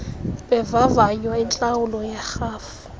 bevavanywa intlawulo yerhafu